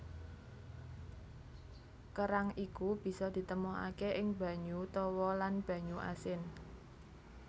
Kerang iku bisa ditemokaké ing banyu tawa lan banyu asin